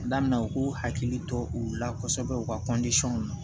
Daminɛ u k'u hakili to u la kosɛbɛ u ka na